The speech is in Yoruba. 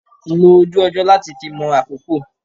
Lo ojú ọjọ́ láti fi mọ àkókò.